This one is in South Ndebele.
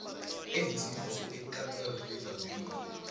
enzinze ekameelrivier b